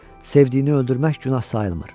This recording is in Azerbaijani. Sevdiyini öldürmək günah sayılmır.